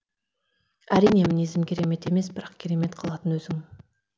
әрине мінезім керемет емес бірақ керемет қылатын өзің